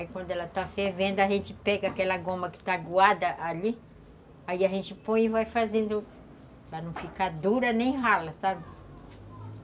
Aí quando ela está fervendo, a gente pega aquela goma que está aguada ali, aí a gente põe e vai fazendo para não ficar dura nem rala, sabe?